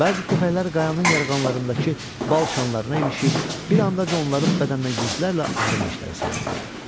Bəzi köpəklər qayanın yaranlarında qalanındakı bal şanlarına ilişir, bir andaca onların bədəninə yüzlərlə arı neştərləri sancılırdı.